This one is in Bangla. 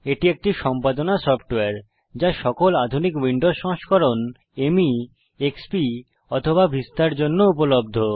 এটি একটি সম্পাদনা সফ্টওয়্যার যা সকল আধুনিক উইন্ডোজ সংস্করণ মী এক্সপি অথবা ভিস্তার জন্য উপলব্ধ